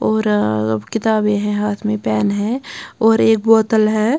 और किताबें है हाथ में पेन है और एक बोतल है.